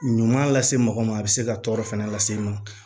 Ɲuman lase mɔgɔ ma a be se ka tɔɔrɔ fɛnɛ lase e ma